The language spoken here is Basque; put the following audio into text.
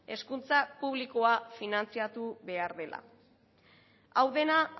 hezkuntza publikoa finantzatu behar dela hau dena